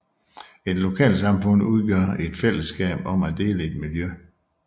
Et lokalsamfund udgør et fællesskab om at dele et miljø